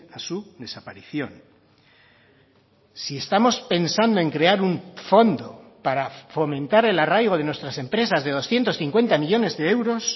a su desaparición si estamos pensando en crear un fondo para fomentar el arraigo de nuestras empresas de doscientos cincuenta millónes de euros